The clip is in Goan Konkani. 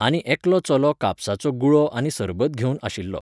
आनी एकलो चलो कापसाचो गुळो आनी सरबत घेवन आशिल्लो.